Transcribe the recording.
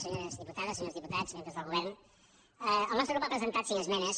senyores diputades senyors diputats membres del govern el nostre grup ha presentat cinc esmenes